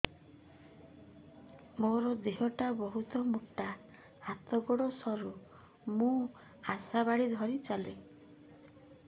ମୋର ଦେହ ଟା ବହୁତ ମୋଟା ହାତ ଗୋଡ଼ ସରୁ ମୁ ଆଶା ବାଡ଼ି ଧରି ଚାଲେ